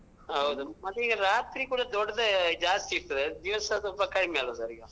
ಹೌದ್, ಮತ್ತೀಗ ರಾತ್ರಿ ಕೂಡ ದೊಡ್ಡದೇ ಜಾಸ್ತಿ ಇತ್ತು ದಿವಸ ಸ್ವಲ್ಪ ಕಡಿಮೆ ಅಲ್ವ sir ಈಗ?